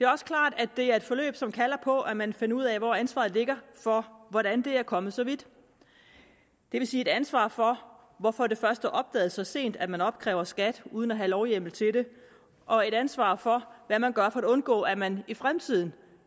også klart at det er et forløb som kalder på at man finder ud af hvor ansvaret ligger for hvordan det er kommet så vidt det vil sige et ansvar for hvorfor det først er opdaget så sent at man opkræver skat uden at have lovhjemmel til det og et ansvar for hvad man gør for at undgå at man i fremtiden